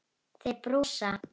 Þeir brosa.